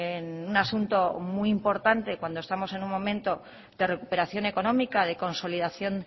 en un asunto muy importante cuando estamos en un momento de recuperación económica de consolidación